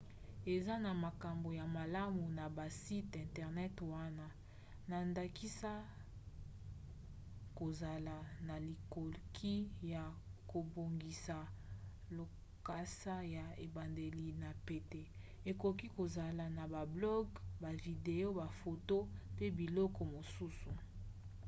eza na makambo ya malamu na basite internet wana na ndakisa kozala na likoki ya kobongisa lokasa ya ebandeli na pete ekoki kozala na ba blog bavideo bafoto pe biloko mosusu